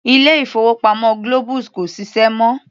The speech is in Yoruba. Ilé-ìfowópamọ́ Globus kò ṣiṣẹ́ mọ́.